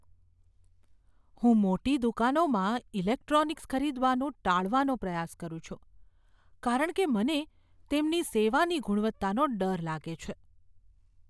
હું મોટી દુકાનોમાં ઇલેક્ટ્રોનિક્સ ખરીદવાનું ટાળવાનો પ્રયાસ કરું છું કારણ કે મને તેમની સેવાની ગુણવત્તાનો ડર લાગે છે.